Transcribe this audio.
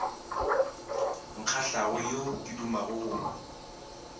nkgahlago yo ke dumago go